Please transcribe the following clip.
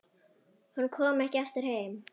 Hún kom ekki aftur heim.